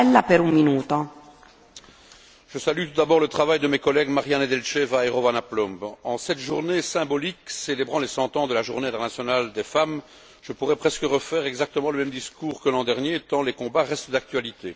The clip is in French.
Madame la Présidente, je salue tout d'abord le travail de mes collègues Mariya Nedelcheva et Rovana Plumb. En cette journée symbolique célébrant les 100 ans de la Journée internationale des femmes, je pourrais presque refaire exactement le même discours que l'an dernier tant les combats restent d'actualité.